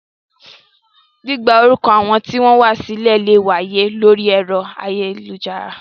Gbígba orúkọ àwọn tí ó wá sílẹ̀ lè wáyé lórí ẹ̀rọ ayélujára